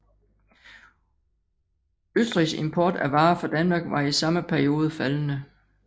Østrigs import af varer fra Danmark var i samme periode faldende